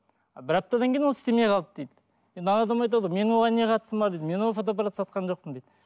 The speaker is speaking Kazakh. бір аптадан кейін ол істемей қалды дейді енді адам айтады ғой менің оған не қатысым бар дейді мен ол фотоапартты сатқан жоқпын дейді